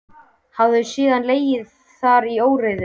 Hafa þau síðan legið þar í óreiðu.